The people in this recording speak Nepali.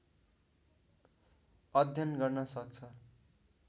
अध्ययन गर्न सक्छ